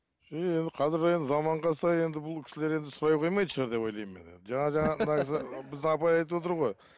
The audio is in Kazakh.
қазір енді заманға сай енді бұл кісілер енді сұрай қоймайтын шығар деп ойлаймын мен енді біздің апай айтып отыр ғой